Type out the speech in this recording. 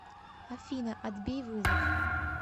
афина отбей вызов